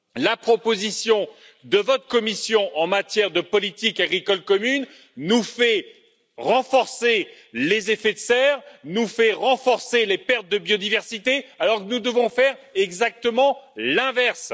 La proposition de votre Commission en matière de politique agricole commune nous fait renforcer les effets de serre, nous fait renforcer les pertes de biodiversité, alors que nous devons faire exactement l'inverse.